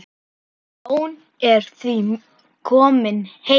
Jón er því kominn heim.